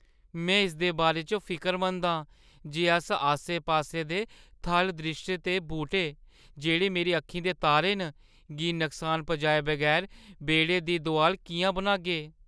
में इसदे बारे च फिकरमंद आं जे अस आस्से-पास्से दे थल द्रिश्श ते बूह्‌टें, जेह्‌ड़े मेरी अक्खीं दे तारे न, गी नुकसान पजाए बगैर बेह्‌ड़े दी दोआल किʼयां बनागे।